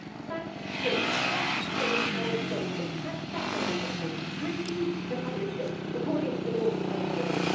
Fact three that same Boris Johnson has sat on that report and refused to publish it according to the normal timetable.